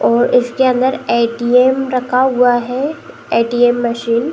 और इसके अंदर ऐटीएम रखा हुआ है ऐटीएम मशीन ।